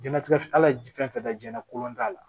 Jɛnatigɛ kala ye fɛn fɛn na jiyɛn la kodɔn t'a la